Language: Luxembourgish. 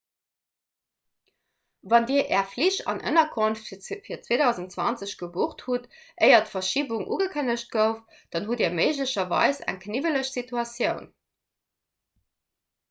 wann dir är flich an ënnerkonft fir 2020 gebucht hutt éier d'verschibung ugekënnegt gouf dann hutt dir méiglecherweis eng kniwweleg situatioun